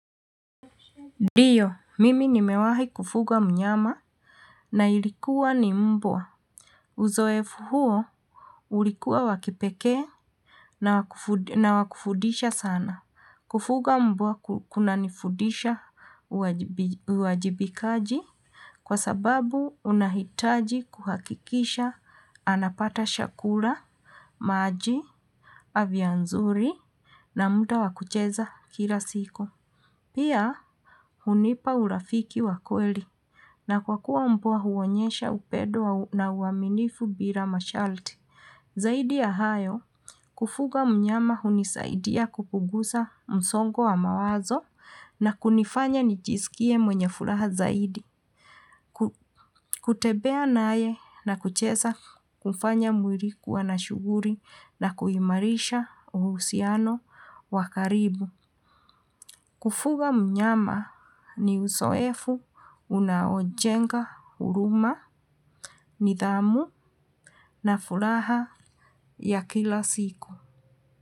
Ndiyo, mimi nimewahi kufuga mnyama na ilikuwa ni mbwa. Uzoefu huo ulikuwa wakipekee na wakufundisha sana. Kufuga mbwa kunanifundisha uwajibikaji kwa sababu unahitaji kuhakikisha anapata chakula, maji, afya nzuri na muda wakucheza kila siku. Pia, hunipa urafiki wakweli na kwa kuwa mbwa huonyesha upendo na uaminifu bila masharti. Zaidi ya hayo, kufuga mnyama hunisaidia kupunguza msongo wa mawazo na kunifanya nijisikie mwenye furaha zaidi. Kutembea naye na kucheza hufanya mwili kuwa na shughuli na kuimarisha uhusiano wakaribu. Kufuga mnyama ni uzoefu unaojenga huruma, nidhamu na furaha ya kila siku.